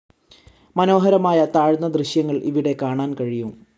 മനോഹരമായ താഴ്‌ന്ന ദൃശ്യങ്ങൾ ഇവിടെ കാണാൻ കഴിയും.